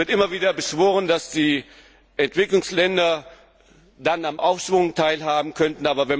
Es wird immer wieder beschworen, dass die Entwicklungsländer dann am Aufschwung teilhaben könnten.